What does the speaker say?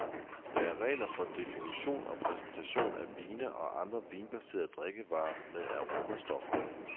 Der er regler for definition og præsentation af vine og andre vinbaserede drikkevarer med aromastoffer.